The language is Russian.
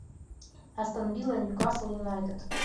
астон вилла ньюкасл юнайтед